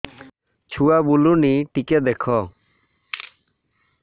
ଛୁଆ ବୁଲୁନି ଟିକେ ଦେଖ